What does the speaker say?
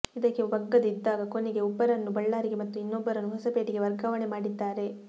ಇದಕ್ಕೆ ಬಗ್ಗದೆ ಇದ್ದಾಗ ಕೊನೆಗೆ ಒಬ್ಬರನ್ನು ಬಳ್ಳಾರಿಗೆ ಮತ್ತು ಇನ್ನೊಬ್ಬರನ್ನು ಹೊಸಪೇಟೆಗೆ ವರ್ಗಾವಣೆ ಮಾಡಿದ್ದಾರೆ